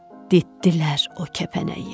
ditdilər o kəpənəyi.